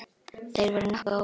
Þeir voru nokkuð ólíkir.